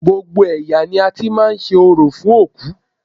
Gbogbo ẹ̀yà ni a ti máa ń ṣe orò fún òkú